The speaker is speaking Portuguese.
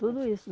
Tudo isso.